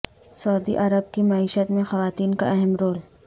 سعودی عرب کی معیشت میں خواتین کا اہم رول